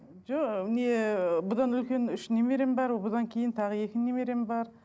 жоқ не бұдан үлкен үш немерем бар бұдан кейін тағы екі немерем бар